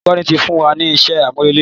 Olùkọ́ ti fún wa ni iṣẹ́ àmúrelé.